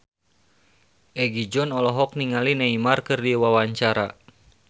Egi John olohok ningali Neymar keur diwawancara